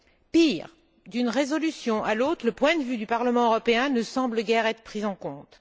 Pire, d'une résolution à l'autre, le point de vue du Parlement européen ne semble guère être pris en compte.